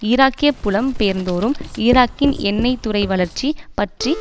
ஈராக்கிய புலம் பெயர்ந்தோரும் ஈராக்கின் எண்ணெய் துறை வளர்ச்சி பற்றி